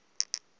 sasepitoli